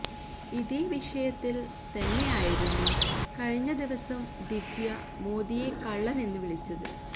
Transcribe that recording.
ഇതേ വിഷയത്തിൽ തന്നെയായിരുന്നു കഴിഞ്ഞ ദിവസം ദിവ്യ മോദിയെ കള്ളനെന്ന് വിളിച്ചത്